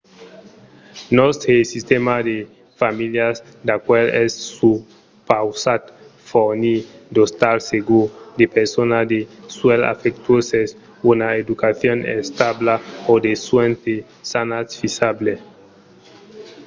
nòstre sistèma de familhas d'acuèlh es supausat fornir d'ostals segurs de personal de suènhs afectuoses una educacion establa e de suènhs de santat fisables